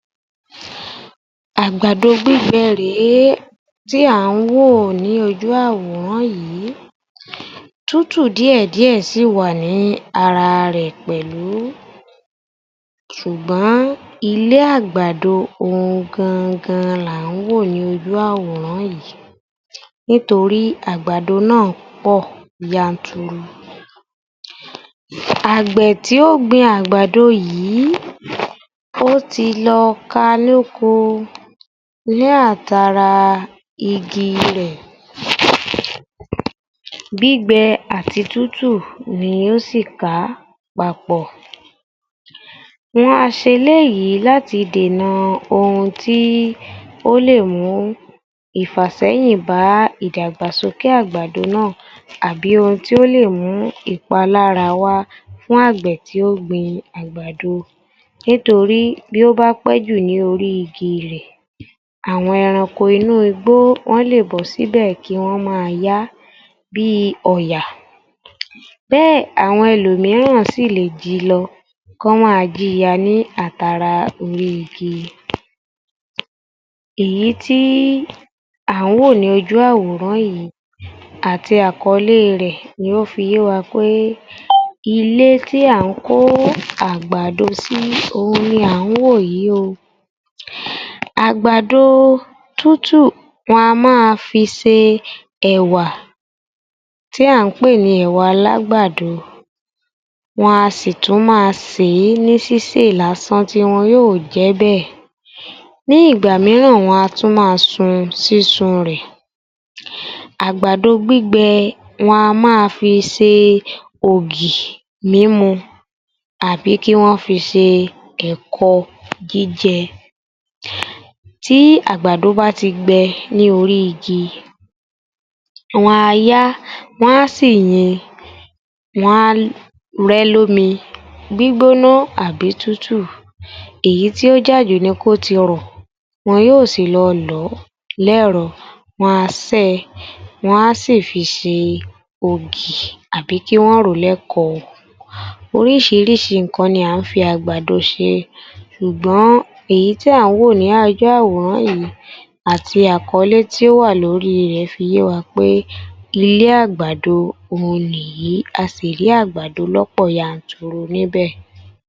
24_ _yoruba_yor_f_518_AG00007 Àgbàdo gbígbẹ rè é tí à ń wò ní ojú àwòrán yì í. Tútù díèdíè sì ì wà ní ara rẹ̀ pẹ̀lú. Sùgbọ̀n ilé àgbàdo òun gangan là ń wò ní ojú àwòrán yì í. Nítorí àgbàdo ná à pò yanturu. Àgbẹ̀ tí ó ógbin àgbàdo yì í, ó ti lọ ká a lóko ní àtara igi rẹ̀. Gbígbẹ àti tútú ni ó sì kà á papọ̀. Wọn a ṣe eléyìí láti dènà ohun tí ó lè mú ìfàsẹ́yìn bá ìdàgbàsókè àgbàdo ná à àbí ohun tó lè mú ìpalára wá fún àgbẹ̀ tí ó ógbin àgbàdo. Nítorí bí ó bá pẹ́jù ní orí igi rẹ̀, àwọn ẹranko inú igbó wọ́n lè bọ́ sí bẹ̀ kí wọ́n má a ya á, bí i ọ̀yà. Bé è àwọn ẹlòmíràn sì ì lè ji lọ, k'ọ́n máa ji ya a ní átara orí i igi. Èyí tí à ń wò ní ojú àwòrán yì í àti àkọlé rẹ̀ ni ó fi yé wa pè, ilé tì à kó ó àgbàdo sí í, òun ni à ń wò yí o. Àgbàdo o tútù, wọn a má a fi se ẹ̀wà tí à ń pè nì ẹ̀wà alágbàdo. Wọn a sì ì tún má a sè é ní sísè lásán tí wọn yó ò jẹ ẹ́ bẹ̀. Ní ìgbà míràn wọn a tún má a sun sísun rẹ̀. Àgbàdo gbígbẹ wọn a má a fi se e ògì mímu àbí kÍ wọn fi se ẹ̀kọ jíjẹ. Tí àgbàdo bá ti gbẹ ní orí i igi, wọn a ya á, wọn á sì ì yin, wọn á rẹ ẹ́ l'ómi gbígbóná àbí tútù. Èyí tí ó jà jù ni kó ti rọ̀ ọ̀. Wọn yó ò sì lọ lọ̀ ọ́ l'ẹ́rọ, wọn a sẹ́ ẹ, wọn a sì ì fi ṣe ògì àbí kí wọ́n rò ó l'ẹ́kọ ọ. Orísìírísìí ǹǹkan ni à ń fi àgbàdo ṣe e. Ṣùgbọ́n èyí tí à ń wò ní ojú àwòrán yì í àti àkọlé tí ó wà lọ́rí rẹ̀ fi yé wa pè, ilé àgbàdo òun nì ì yì í. A sì ì rí í àgbàdo l'ọ́pọ̀ yanturu níbẹ̀.